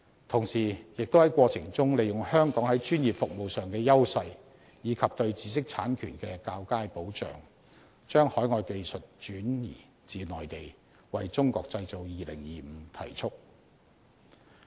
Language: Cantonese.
同時，亦能在過程中利用香港在專業服務上的優勢，以及對知識產權的較佳保障，把海外技術轉移至內地，為"中國製造 2025" 提速。